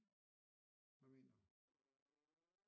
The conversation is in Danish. Hvad mener du